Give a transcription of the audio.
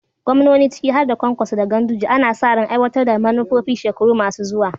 Gwamnoni ciki har da Kwankwaso da Ganduje ana sa ran aiwatar da manufofin shekaru masu zuwa.